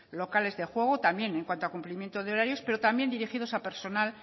locales de juego también en cuanto cumplimiento de horarios pero también dirigidos a personal